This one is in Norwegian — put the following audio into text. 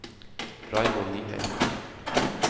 Raymond Nyheim